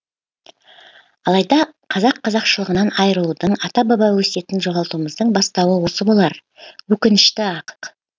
алайда қазақ қазақшылығынан айырылудың ата баба өсиетін жоғалтуымыздың бастауы осы болар өкінішті ақ